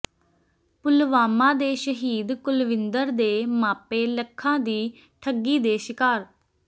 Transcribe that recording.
ਪੁਲਵਾਮਾ ਦੇ ਸ਼ਹੀਦ ਕੁਲਵਿੰਦਰ ਦੇ ਮਾਪੇ ਲੱਖਾਂ ਦੀ ਠੱਗੀ ਦੇ ਸ਼ਿਕਾਰ